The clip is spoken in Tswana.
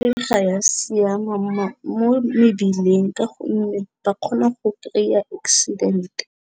Ee, ga ya siama mo mebileng ka gonne ba kgona go kry-a accident.